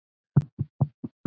Veröld sem var.